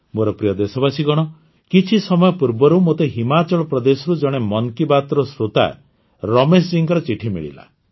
ମୋର ପ୍ରିୟ ଦେଶବାସୀଗଣ କିଛି ସମୟ ପୂର୍ବରୁ ମୋତେ ହିମାଚଳ ପ୍ରଦେଶରୁ ଜଣେ ମନ୍ କି ବାତ୍ର ଶ୍ରୋତା ରମେଶଜୀଙ୍କର ଚିଠି ମିଳିଲା